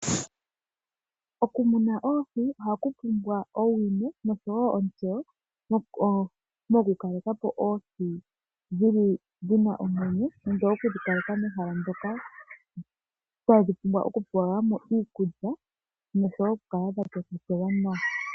Okumuna oohi ohaku pumbwa owino noshowoo onsteyo nokukalekapo dhina omwenyo nenge okudhikaleka mehala moka tadhi pumbwa okupelwamo iikulya noshowoo dhakokekelwamo.